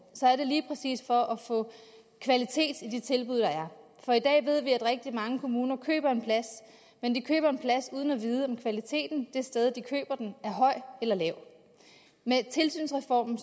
så er det lige præcis for at få kvalitet i de tilbud der er for i dag ved vi at rigtig mange kommuner køber en plads men de køber en plads uden at vide om kvaliteten det sted de køber den er høj eller lav med tilsynsreformen